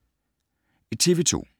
TV 2